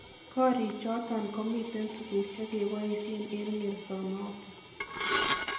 Koriichoton komiiten tuguuk chegeboisien en ngersonoton.